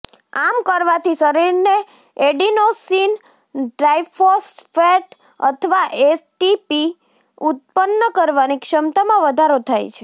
આમ કરવાથી શરીરને એડિનોસિન ટ્રાઇફોસ્ફેટ અથવા એટીપી ઉત્પન્ન કરવાની ક્ષમતામાં વધારો થાય છે